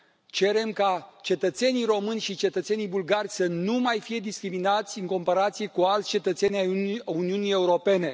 Cerem ca cetățenii români și cetățenii bulgari să nu mai fie discriminați în comparație cu alți cetățeni ai Uniunii Europene.